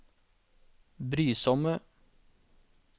brysomme